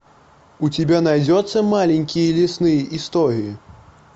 у тебя найдется маленькие лесные истории